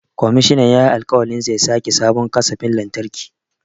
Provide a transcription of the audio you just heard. Komishinan yayi alƙawarin zai sake sabon kasafin lantarki.